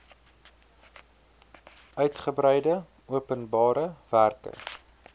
uitgebreide openbare werke